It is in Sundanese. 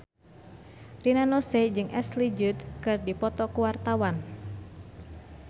Rina Nose jeung Ashley Judd keur dipoto ku wartawan